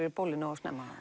í bólið nógu snemma